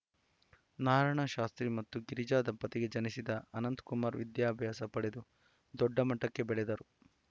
ನಾರಾಯಣ ಶಾಸ್ತ್ರಿ ಮತ್ತು ಗಿರಿಜಾ ದಂಪತಿಗೆ ಜನಿಸಿದ ಅನಂತಕುಮಾರ್‌ ವಿದ್ಯಾಭ್ಯಾಸ ಪಡೆದು ದೊಡ್ಡಮಟ್ಟಕ್ಕೆ ಬೆಳೆದವರು